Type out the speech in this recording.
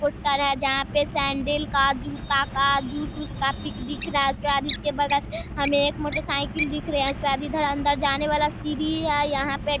Poster है जहाँ पे सेंडिल का जूता का जूस वुस का पिक दिख रहा है। उसके बाद उसके बगल हमे एक मोटर साइकिल दिख रही है उसके बाद इधर अन्दर जाने वाला सीढ़ी है। यहाँ पे